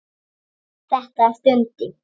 Þetta er Dundi!